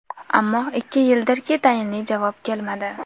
Ammo ikki yildirki, tayinli javob kelmadi.